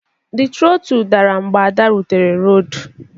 The trottle dara mgbe Ada rutere raod